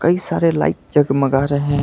कई सारे लाइट जगमगा रहे--